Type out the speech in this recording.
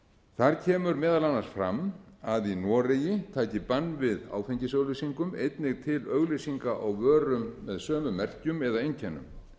þar kemur meðal annars fram að í noregi taki bann við áfengisauglýsingum einnig til auglýsinga á vörum með sömu merkjum eða einkennum